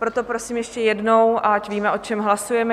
Proto prosím ještě jednou, ať víme, o čem hlasujeme.